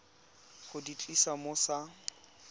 go di tlisa mo sa